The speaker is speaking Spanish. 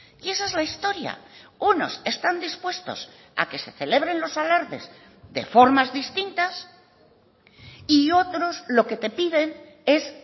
y esa es la historia unos están dispuestos a que se celebren los alardes de formas distintas y otros lo que te piden es